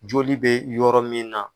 Joli bɛ yɔrɔ min na